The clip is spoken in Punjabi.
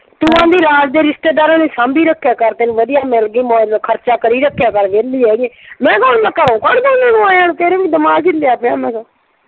ਤੂੰ ਆਂਹਦੀ ਰਾਜ ਦੇ ਰਿਸ਼ਤੇਦਾਰਾਂ ਨੂੰ ਸਾਂਭੀ ਰੱਖਿਆ ਕਰ, ਤੈਨੂੰ ਵਧੀਆ ਮਿਲ ਗਏ ਮੌਜ ਨਾਲ ਖਰਚਾ ਕਰੀ ਰੱਖਿਆ ਕਰ, ਵਿਹਲੀ ਹੈਗੀ। ਮੈਂ ਕਿਹਾ ਹੁਣ ਮੈਂ ਘਰੋਂ ਕੱਢ ਦਾ ਉਨ੍ਹਾਂ ਨੂੰ ਆਇਆਂ ਨੂੰ ਤੇਰੇ ਵੇ ਦਿਮਾਗ ਹਿਲਿਆ ਪਿਆ ਮੈਂ ਕਿਹਾ।